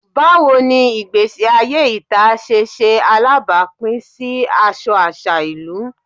Bawo ni igbesi aye ita ṣe ṣe alabapin si aṣọ aṣa ilu?